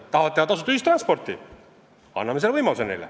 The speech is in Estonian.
Kui nad tahavad teha tasuta ühistransporti, anname selle võimaluse.